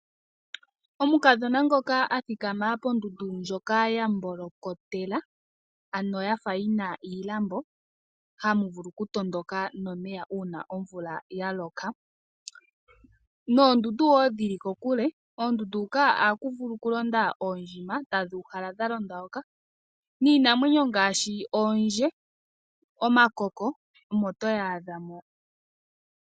Omukadhona ngoka athikama pondundu ndjoka ya mbolokotela ano yafa yina iilambo hamu vulu okutondoka nomeya una omvula ya loka noondundu wo dhi li kokule. Oondundu huka oha ku vulu wo okulonda oondjima tadhi uhala dha londa hoka niinamwenyo ngaashi oondje, omakoko omo toyi adha mo